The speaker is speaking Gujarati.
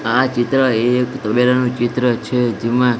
આ ચિત્ર એક તબેલાનુ ચિત્ર છે જેમા--